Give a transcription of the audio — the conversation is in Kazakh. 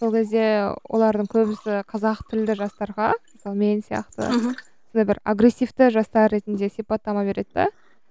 сол кезде олардың көбісі қазақ тілді жастарға мысалы мен сияқты мхм сондай бір агрессивті жастар ретінде сипаттама береді де